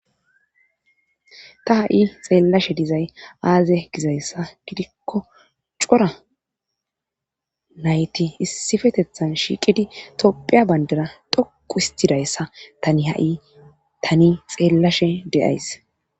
Ta ha'i xeellashe dizay aaze gizayssa gidikko cora nayti issifetethan shiiqidi toppheya bayndara doku istidayssa tani hai tani xeellashe de'ays.